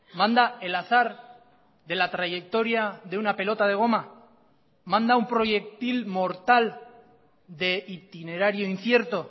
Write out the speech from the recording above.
manda el azar de la trayectoria de una pelota de goma manda un proyectil mortal de itinerario incierto